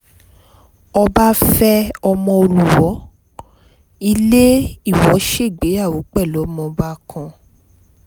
ọba fẹ́ ọmọọ olùwòo ilé ìwọ ṣègbéyàwó pẹ̀lú ọmọọba kán